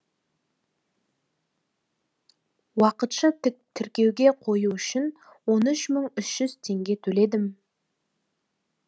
уақытша тіркеуге қою үшін он уш мың үш жүз теңге төледім теңге төледім